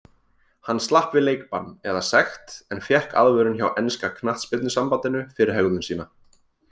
Hann slapp við leikbann eða sekt en fékk aðvörun hjá enska knattspyrnusambandinu fyrir hegðun sína.